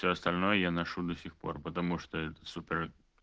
все остальное я ношу до сих пор потому что это супер